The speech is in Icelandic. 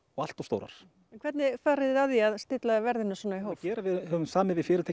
og allt of stórar en hvernig farið þið að því að stilla verðinu svona í hóf við höfum samið við fyrirtæki